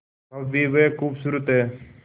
भव्य व खूबसूरत है